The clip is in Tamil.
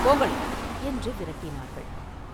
போங்கள்!” என்று விரட்டினார்கள்.